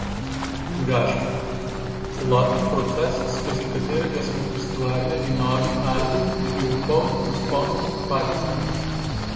Gašper: "Celoten proces, skozi katerega smo ustvarjali novi album, je bil poln vzponov in padcev.